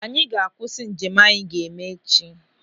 Anyị ga-akwụsị njem anyị ga-eme echi.